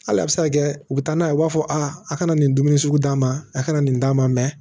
Hali a bɛ se ka kɛ u bɛ taa n'a ye u b'a fɔ a kana nin dumuni sugu d'a ma a kana nin d'a ma mɛ